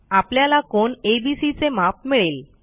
आपल्याला कोन एबीसी चे माप मिळेल